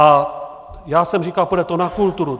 A já jsem říkal - půjde to na kulturu.